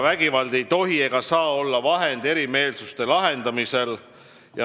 Vägivald ei tohi ega saa olla vahend erimeelsuste lahendamisel.